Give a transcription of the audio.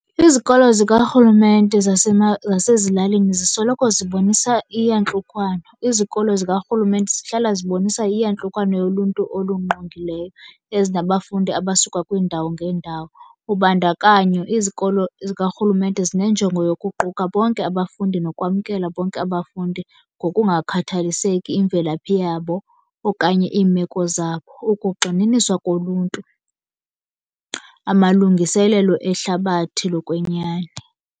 Izikolo zikarhulumente zasezilalini zisoloko zibonisa iyantlukwano. Izikolo zikarhulumente zihlala zibonisa iyantlukwano yoluntu olungqongileyo ezinabafundi abasuka kwiindawo ngeendawo. Ubandakanyo izikolo zikarhulumente zinenjongo yokuquka bonke abafundi nokwamkela bonke abafundi ngokungakhathaliseki imvelaphi yabo okanye iimeko zabo. Ukugxininiswa koluntu, amalungiselelo ehlabathi lokwenyani.